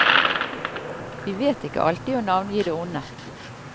Vi vet ikke alltid å navngi det onde.